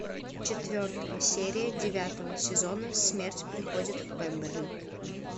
четвертая серия девятого сезона смерть приходит в пемберли